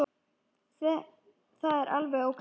Það er alveg ókei.